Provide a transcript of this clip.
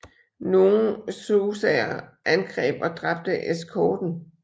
Nogle xhosaer angreb og dræbte eskorten